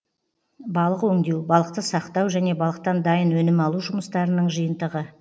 балық өңдеу балықты сақтау және балықтан дайын өнім алу жұмыстарының жиынтығы